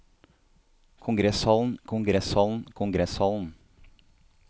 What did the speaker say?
kongresshallen kongresshallen kongresshallen